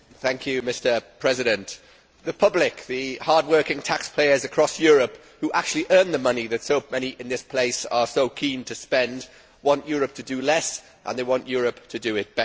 Mr President, the public, the hardworking taxpayers across Europe who actually earn the money which so many in this place are so keen to spend, want Europe to do less and they want Europe to do it better.